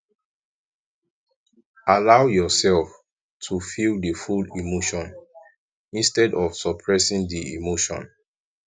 allow yourself to feel di full emotion instead of suppressing di emotion